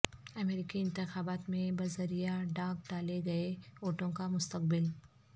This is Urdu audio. امریکی انتخابات میں بذریعہ ڈاک ڈالے گئے ووٹوں کا مستقبل